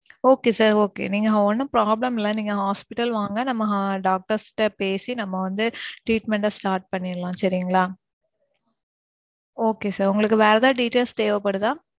Okay sir okay நீங்க ஒன்னும் problem இல்ல. நீங்க hospital வாங்க. நம்ம doctos ட பேசி நம்ம வந்து treatment ட start பண்ணிறலாம் சரிங்களா? okay sir உங்களுக்கு வேற ஏதாது details தேவைப்படுதா?